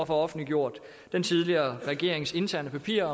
få offentliggjort den tidligere regerings interne papirer